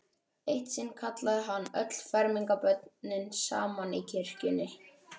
Eitt sinn kallaði hann öll fermingarbörnin saman í kirkjunni.